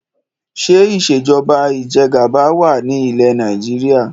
Ṣé ìsèjọba ìjẹgàba wá ní ilẹ́ Nàìjíríà?